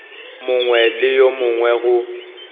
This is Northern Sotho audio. mongwe le yo mongwe go